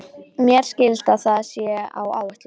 Mér skilst að það sé á áætlun.